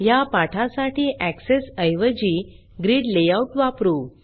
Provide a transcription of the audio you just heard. ह्या पाठासाठी एक्सेस ऐवजी ग्रिड लेआउट वापरू